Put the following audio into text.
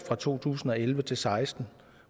fra to tusind og elleve til seksten